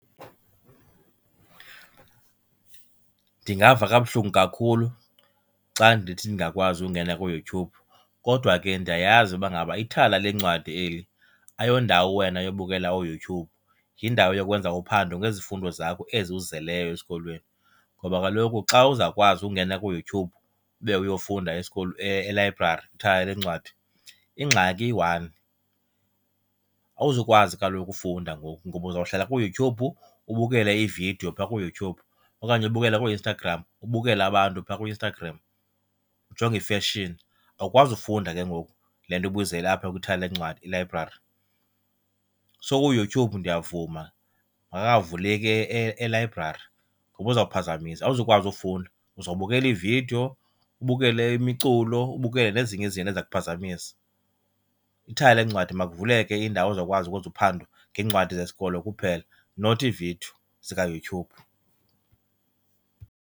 Ndingava kabuhlungu kakhulu xa ndithi ndingakwazi ungena kuYouTube. Kodwa ke ndiyayazi uba ngaba ithala leencwadi eli ayondawo wena yobukela uYoutube, yindawo yokwenza uphando ngezifundo zakho ezi uzizeleyo esikolweni. Ngoba kaloku xa uzawukwazi ungena kuYoutube ube uyofunda elayibrari, kwithala leencwadi, ingxaki iyi-one. Awuzukwazi kaloku ufunda ngoku ngoba uzawuhlala kuYoutube ubukele iividiyo pha kuYouTube okanye ubukele kooInstagram, ubukele abantu phaa kuInstagram, ujonge i-fashion, awukwazi ufunda ke ngoku le nto ubuyizele apha kwithala leencwadi, ilayibrari. So kuYouTube ndiyavuma makangavuleki elayibrari ngoba uzophazamisa, awuzukwazi ufunda uzobukela iividiyo ubukele imiculo ubukele nezinye izinto eziza kuphazamisa. Ithala leencwadi makuvuleke indawo ozawukwazi ukuzwenza uphando ngeencwadi zesikolo kuphela not iividiyo zikaYouTube.